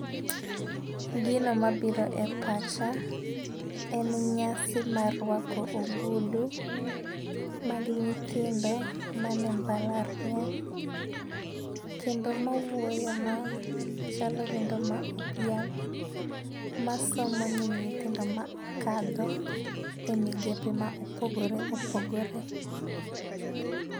Gino mabiro e pacha en nyasi mar rwako ogudu. Magi nyithindo man e mbalariany kendo mawuoyo no, chalo wendo modhial ma somo ne nyithindo ma okalo e migepe ma opogore opogore.